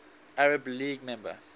arab league member